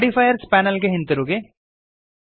modifiers panel ಗೆ ಹಿಂದಿರುಗಿರಿ